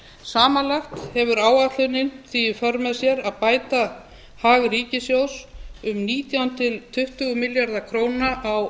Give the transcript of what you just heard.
samanlagt hefur áætlunin því í för með sér að bæta hag ríkissjóðs um nítján til tuttugu milljarða króna á